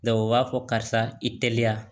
u b'a fɔ karisa i teliya